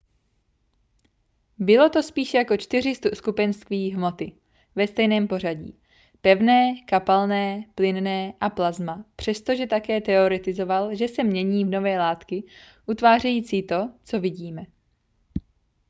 bylo to spíš jako čtyři skupenství hmoty ve stejném pořadí: pevné kapalné plynné a plazma přestože také teoretizoval že se mění v nové látky utvářející to co vidíme